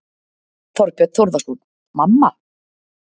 Þorbjörn Þórðarson: Mamma?